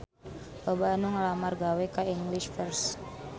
Loba anu ngalamar gawe ka English First